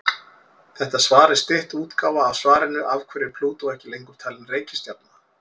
Þetta svar er stytt útgáfa af svarinu Af hverju er Plútó ekki lengur talin reikistjarna?